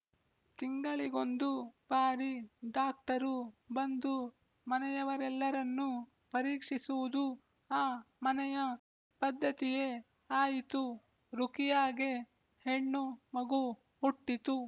ತಿಂಗಳಿಗೊಂದು ಬಾರಿ ಡಾಕ್ಟರು ಬಂದು ಮನೆಯವರೆಲ್ಲರನ್ನೂ ಪರೀಕ್ಷಿಸುವುದು ಆ ಮನೆಯ ಪದ್ಧತಿಯೇ ಆಯಿತು ರುಖಿಯಾಗೆ ಹೆಣ್ಣು ಮಗು ಹುಟ್ಟಿತು